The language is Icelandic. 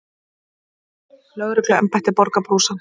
Lögregluembættið borgar brúsann.